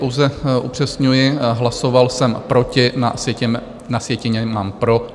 Pouze upřesňuji, hlasoval jsem proti, na sjetině mám pro.